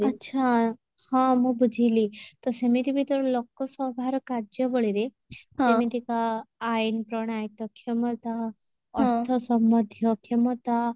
ଆଚ୍ଛା ହଁ ମୁଁ ବୁଝିଲି ତ ସେମିତି ବି ତ ଲୋକସଭାର କାର୍ଯ୍ୟାବଳୀରେ କେମିତିକା ଆଇନ ପ୍ରଣାୟତ କ୍ଷମତା ଅର୍ଥ ସମଧୀୟ କ୍ଷମତା